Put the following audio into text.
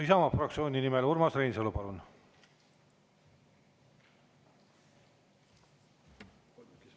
Isamaa fraktsiooni nimel, Urmas Reinsalu, palun!